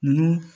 Nunnu